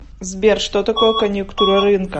сбер что такое коньюктура рынка